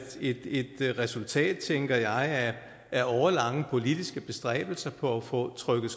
et resultat tænker jeg af årelange politiske bestræbelser på at få trykket